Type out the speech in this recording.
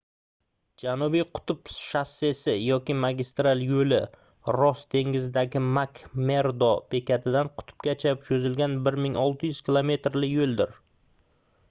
janubiy qutb shossesi yoki magistral yo'li ross dengizidagi mak-merdo bekatidan qutbgacha cho'zilgan 1600 kilometrli yo'ldir